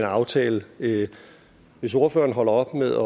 aftale hvis ordføreren holder op med